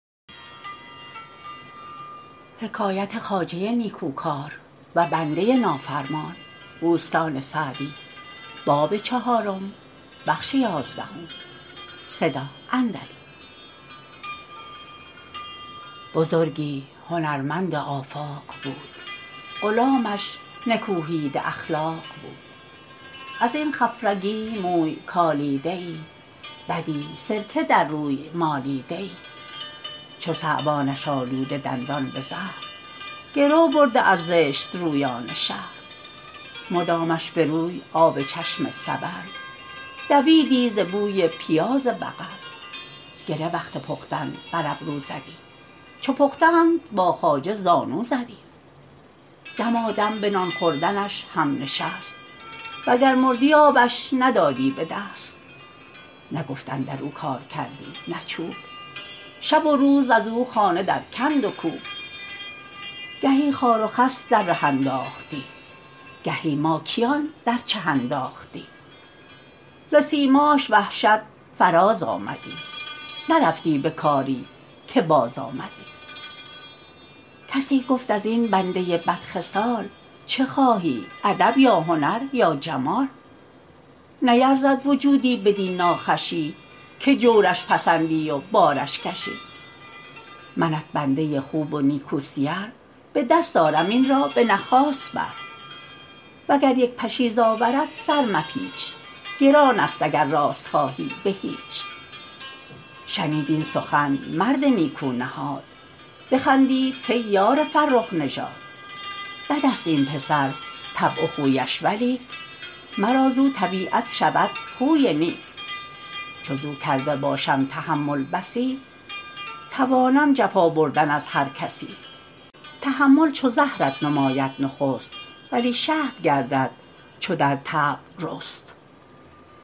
بزرگی هنرمند آفاق بود غلامش نکوهیده اخلاق بود از این خفرگی موی کالیده ای بدی سرکه در روی مالیده ای چو ثعبانش آلوده دندان به زهر گرو برده از زشت رویان شهر مدامش به روی آب چشم سبل دویدی ز بوی پیاز بغل گره وقت پختن بر ابرو زدی چو پختند با خواجه زانو زدی دمادم به نان خوردنش هم نشست و گر مردی آبش ندادی به دست نه گفت اندر او کار کردی نه چوب شب و روز از او خانه در کند و کوب گهی خار و خس در ره انداختی گهی ماکیان در چه انداختی ز سیماش وحشت فراز آمدی نرفتی به کاری که باز آمدی کسی گفت از این بنده بد خصال چه خواهی ادب یا هنر یا جمال نیرزد وجودی بدین ناخوشی که جورش پسندی و بارش کشی منت بنده خوب و نیکو سیر به دست آرم این را به نخاس بر و گر یک پشیز آورد سر مپیچ گران است اگر راست خواهی به هیچ شنید این سخن مرد نیکو نهاد بخندید کای یار فرخ نژاد بد است این پسر طبع و خویش ولیک مرا زاو طبیعت شود خوی نیک چو زاو کرده باشم تحمل بسی توانم جفا بردن از هر کسی تحمل چو زهرت نماید نخست ولی شهد گردد چو در طبع رست